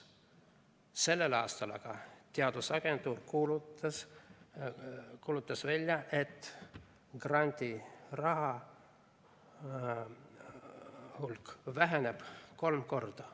Sellel aastal aga teadusagentuur kuulutas välja, et grandiraha hulk väheneb kolm korda.